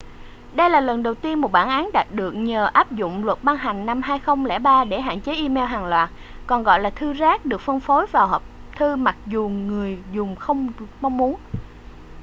đây là lần đầu tiên một bản án đạt được nhờ áp dụng luật ban hành năm 2003 để hạn chế e-mail hàng loạt còn gọi là thư rác được phân phối vào hộp thư mặc dù người dùng không mong muốn